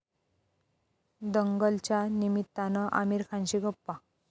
दंगल'च्या निमित्तानं आमिर खानशी गप्पा